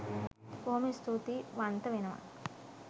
බොහොම ස්තුතියි වන්ත වෙනව